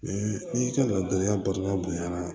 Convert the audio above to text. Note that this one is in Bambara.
n'i ka ladilikan batan bonya na